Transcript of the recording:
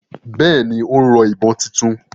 Bẹ́ẹ̀ni, ó ń rọ ìbọn títún